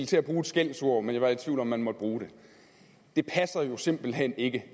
til at bruge et skældsord men jeg var i tvivl om om man måtte bruge det det passer jo simpelt hen ikke